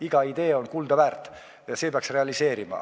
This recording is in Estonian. Iga idee on kuldaväärt ja see peaks realiseeruma.